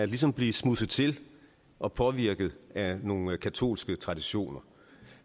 ligesom at blive smudset til og påvirket af nogle katolske traditioner